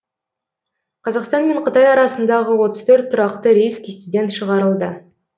қазақстан мен қытай арасындағы отыз төрт тұрақты рейс кестеден шығарылды